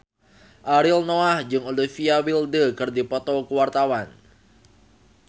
Ariel Noah jeung Olivia Wilde keur dipoto ku wartawan